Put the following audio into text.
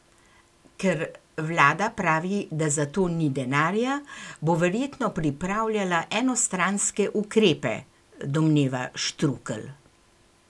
Ker vlada pravi, da za to ni denarja, bo verjetno pripravljala enostranske ukrepe, domneva Štrukelj.